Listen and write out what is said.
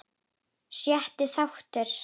Sjötti þáttur